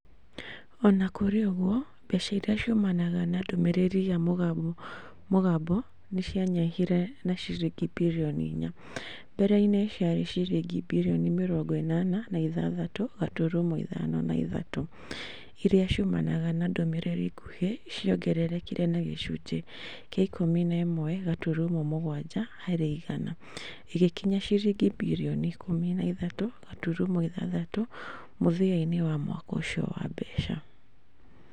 O na kũrĩ ũguo, mbeca iria ciumanaga na ndũmĩrĩri ya mũgambo nĩ cianyihire na ciringi birioni inya . Mbereini ciarĩ ciringi birioni mĩroongo ĩnana na ithathatũ gaturumo ithano na ithatũ. Iria ciumanaga na ndũmĩrĩri nguhĩ ciongererekire na gĩcunjĩ kĩa ikũmi na ĩmwe gaturumo mũgwanja harĩ igana. ĩgĩkinya ciringi birioni ikũmi na ithatũ gaturumo ithathatũ mũthia-inĩ wa mwaka ũcio wa mbeca.